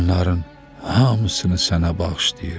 Bunların hamısını sənə bağışlayıram.